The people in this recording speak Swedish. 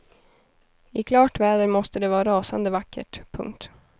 I klart väder måste det vara rasande vackert. punkt